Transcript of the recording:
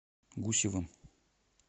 гусевым